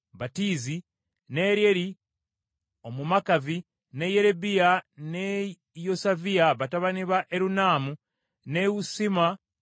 ne Eryeri Omumakavi, ne Yeribayi ne Yosaviya batabani ba Erunaamu, ne Isuma Omumowaabu,